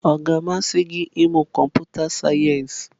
Ọ ga-amasị gị ịmụ kọmputa sayensị?